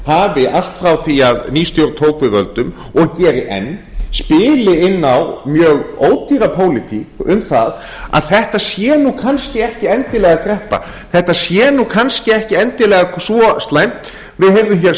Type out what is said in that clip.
stjórnarmeirihlutinn hafi allt frá því að ný stjórn tók við völdum og geri enn spili inn á mjög ódýra pólitík um það að þetta sé nú kannski ekki endilega kreppa þetta sé nú kannski ekki svo endilega slæmt við heyrðum hér